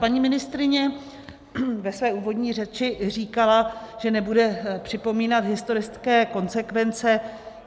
Paní ministryně ve své úvodní řeči říkala, že nebude připomínat historické konsekvence.